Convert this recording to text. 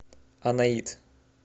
анаит